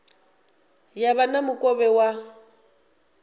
ya vha na mukovhe wa